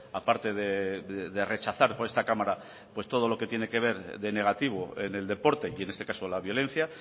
a parte de rechazar por esta cámara pues todo lo que tiene que ver de negativo en el deporte y en este caso la violencia